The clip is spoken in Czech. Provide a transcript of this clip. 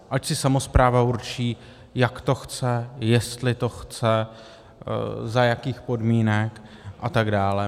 Ať si samospráva určí, jak to chce, jestli to chce, za jakých podmínek a tak dále.